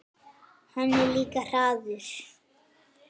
Hann er líka harður.